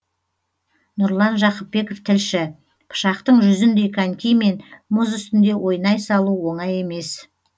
нұрлан жақыпбеков тілші пышақтың жүзіндей конькимен мұз үстінде ойнай салу оңай емес